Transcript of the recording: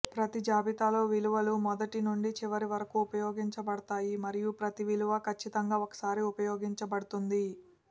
ప్రతి జాబితాలో విలువలు మొదటి నుండి చివరి వరకు ఉపయోగించబడతాయి మరియు ప్రతి విలువ ఖచ్చితంగా ఒకసారి ఉపయోగించబడుతుంది